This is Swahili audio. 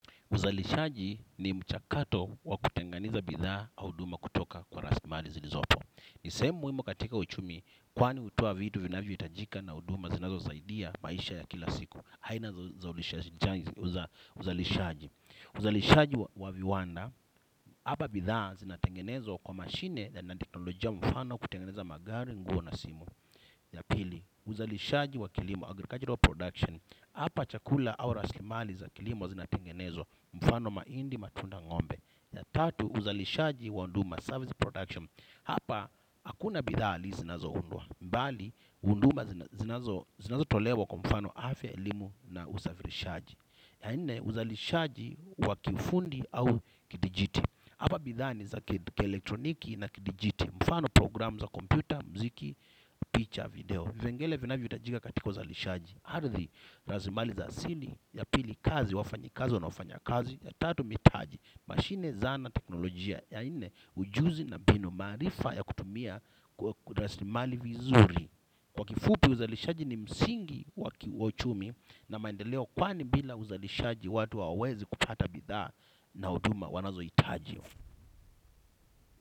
Uzalishaji ni mchakato wa kutenganeza bidhaa au huduma kutoka kwa rasirimali zilizopo. Ni sehemu muhimu katika uchumi kwani hutoa vitu vinavyohitajika na huduma zinazosaidia maisha ya kila siku. Aina za uzalishaji. Uzalishaji wa viwanda, hapa bidhaa zinatengenezwa kwa mashine na teknolojia mfano kutengeneza magari nguo na simu. Ya pili, uzalishaji wa kilimo, agricultural production, hapa chakula au rasilimali za kilimo wa zinatengenezwa, mfano mahindi, matunda ng'ombe ya tatu, uzalishaji wa huduma, service production, hapa hakuna bidhaaa zinazoundwa bali, huduma zinazo zinazo tolewa kwa mfano afya, elimu na usafirishaji. Ya nne, uzalishaji wa kiufundi au kidijiti hapa bidhaa ni za ki-elektroniki na ki-digiti. Mfano programu za kompyuta, muziki, picha, video vipengele vinavyotajiga katika uzalishaji ardhi rasirimali za asili ya pili kazi, wafanyakazi wanaofanya kazi ya tatu mitaji mashine, zana, teknolojia ya nne ujuzi na mbinu maarifa ya kutumia kwa rasirimali vizuri. Kwa kifupi uzalishaji ni msingi wa uchumi. Na maendeleo kwani bila uzalishaji watu hawawezi kupata bidhaa. Na huduma wanazohitaji.